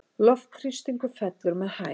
Loftþrýstingur fellur með hæð.